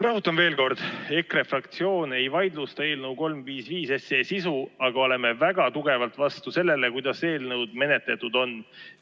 Rõhutan veel kord: EKRE fraktsioon ei vaidlusta eelnõu 355 sisu, aga oleme väga tugevalt vastu sellele, kuidas eelnõu menetletud on.